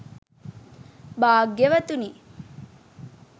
භග්‍යවතුනි,